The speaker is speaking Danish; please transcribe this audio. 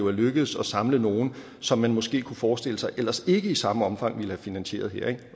er lykkedes at samle nogle som man måske kunne forestille sig ellers ikke i samme omfang ville have finansieret her